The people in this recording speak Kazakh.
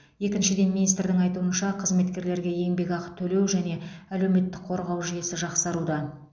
екіншіден министрдің айтуынша қызметкерлерге еңбекақы төлеу және әлеуметтік қорғау жүйесі жақсаруда